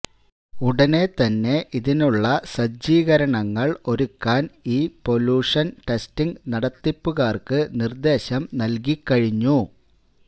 ഉടനെ തന്നെ ഇതിനുള്ള സജ്ജീകരണങ്ങള് ഒരുക്കാന് ഈ പൊലൂഷന് ടെസ്റ്റിങ് നടത്തിപ്പുകാര്ക്ക് നിര്ദ്ദേശം നല്കിക്കഴിഞ്ഞു